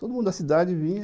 Todo mundo da cidade vinha,